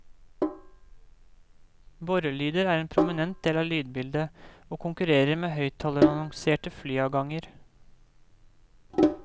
Borrelyder er en prominent del av lydbildet, og konkurrerer med høyttalerannonserte flyavganger.